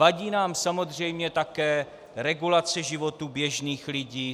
Vadí nám samozřejmě také regulace životů běžných lidí.